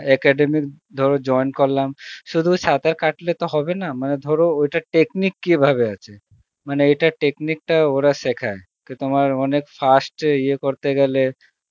academy ধর join করলাম শুধু সাঁতার কাটলে তো হবে না মানে ধরো ওটার technique কিভাবে ভাবে আছে, মানে এটার technique টা ওরা সেখায় কি তোমার অনেক fast ইয়ে করতে গেলে